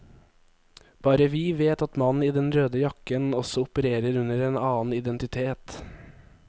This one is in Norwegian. Bare vi vet at mannen i den røde jakken også opererer under en annen identitet.